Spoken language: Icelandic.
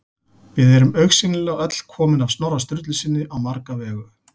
Við erum augsýnilega öll komin af Snorra Sturlusyni á marga vegu.